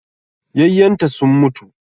Yayyenta sun mutu